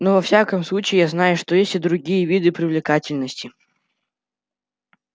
но во всяком случае я знаю что есть и другие виды привлекательности